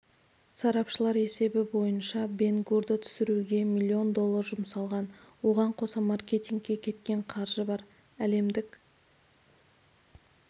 сарапшылар есебі бойынша бен гурды түсіруге миллион доллар жұмсалған оған қоса маркетингке кеткен қаржы бар әлемдік